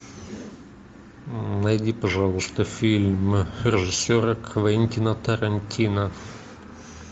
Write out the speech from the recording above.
найди пожалуйста фильм режиссера квентина тарантино